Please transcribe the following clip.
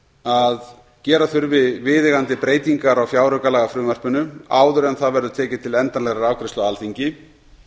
að gera þurfi viðeigandi breytingar á fjáraukalagafrumvarpinu áður en það verði tekið til endanlegrar afgreiðslu á alþingi